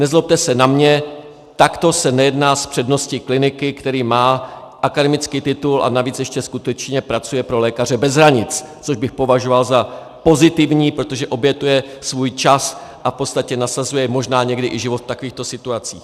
Nezlobte se na mě, takto se nejedná s přednostou kliniky, který má akademický titul a navíc ještě skutečně pracuje pro Lékaře bez hranic, což bych považoval za pozitivní, protože obětuje svůj čas a v podstatě nasazuje možná někdy i život v takovýchto situacích.